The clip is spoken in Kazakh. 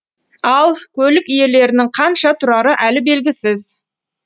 ал көлік иелерінің қанша тұрары әлі белгісіз